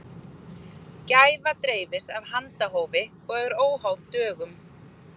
Gæfa dreifist af handahófi og er óháð dögum.